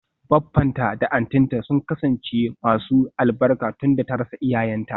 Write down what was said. Baffanta da auntynta sun kasance masu albarka tunda ta rasa iyayenta.